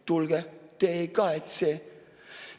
Tulge, te ei kahetse!